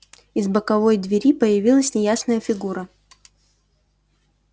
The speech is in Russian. из боковой двери появилась неясная фигура